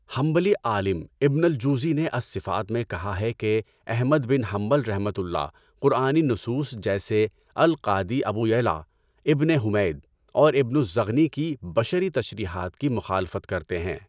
حنبلی عالم ابن الجوزی نے الصفات میں کہا ہے کہ احمد بن حنبلؒ قرآنی نصوص جیسے القادی ابو یعلٰی، ابنِ حُمَید اور ابن الزغنی کی بشری تشریحات کی مخالفت کرتے ہیں۔